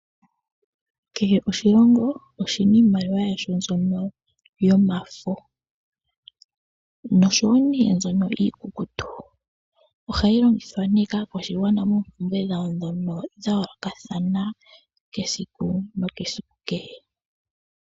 Kehe oshilongo oshina iimaliwa yasho mbyoka yomafo nosho wo mbyoka iikukutu, ohayi longithwa ne kaakwashigwana moompumbwe dhawo dhoka dhayoolokathana esiku nesiku kehe.